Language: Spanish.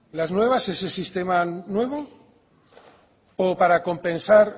las nuevas ese sistema nuevo o para compensar